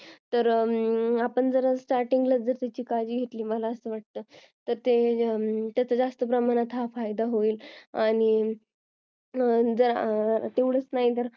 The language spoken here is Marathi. आपण जर start त्याची काळजी घेतली मला असं वाटतंय तर त्याचा जास्त प्रमाणात फायदा होईल तेवढेच नाही तर